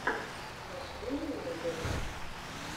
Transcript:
смешные музыка